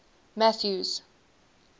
mathews